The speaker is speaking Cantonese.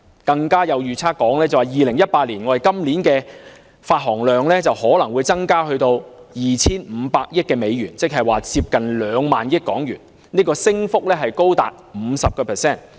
更有預測指 ，2018 年今年的發行量可能增至 2,500 億美元，即接近 20,000 億港元，升幅超過 50%。